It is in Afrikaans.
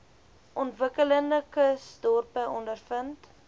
ontwikkelende kusdorpe ondervind